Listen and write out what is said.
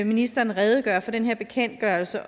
ministeren redegøre for den her bekendtgørelse og